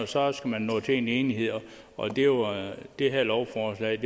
så skal man nå til enighed og det her lovforslag